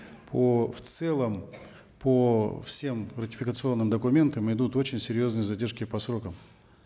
по в целом по всем ратификационным документам идут очень серьезные задержки по срокам